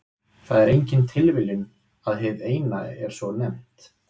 Það er engin tilviljun að hið Eina er svo nefnt.